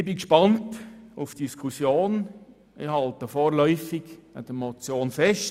Ich bin auf die Diskussion gespannt und halte vorläufig an der Motion fest.